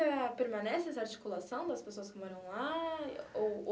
permanece essa articulação das pessoas que moram lá?